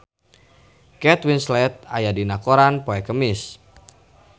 Kate Winslet aya dina koran poe Kemis